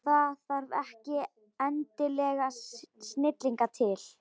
Það þarf ekki endilega snilling til.